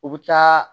U bɛ taa